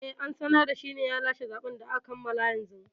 Eh, an sanar da shine ya lashe zaɓen da aka kammala yanzu